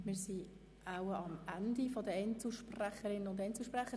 Wir sind am Ende der Einzelsprecher.